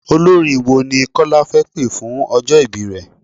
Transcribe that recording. Olórin wo ni Kọ́lá fẹ́ pé fún ọjọ́ ìbí rẹ?